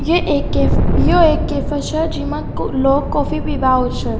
ये एक केफ यो एक कैफ़े छे जेमा लोग कॉफी पिबा आउ छे।